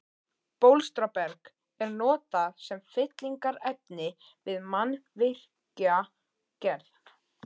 Bólstraberg er notað sem fyllingarefni við mannvirkjagerð.